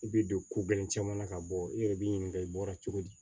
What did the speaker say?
I bɛ don ko gɛlɛn caman na ka bɔ i yɛrɛ b'i ɲininka i bɔra cogo di